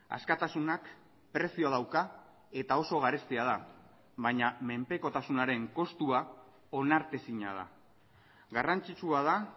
askatasunak prezioa dauka eta oso garestia da baina menpekotasunaren kostua onartezina da garrantzitsua da